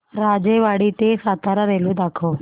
राजेवाडी ते सातारा रेल्वे दाखव